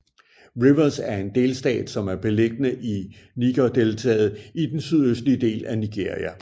Rivers er en delstat som er beliggende i Nigerdeltaet i den sydøstlige del af Nigeria